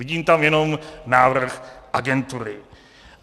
Vidím tam jenom návrh agentury.